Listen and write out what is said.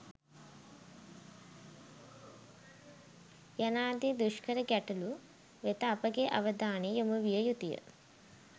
යනාදී දුෂ්කර ගැටලු වෙත අපගේ අවධානය යොමු විය යුතුය.